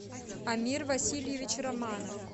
амир васильевич романов